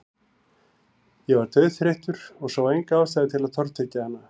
Ég var dauðþreyttur og sá enga ástæðu til að tortryggja hana.